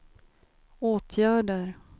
åtgärder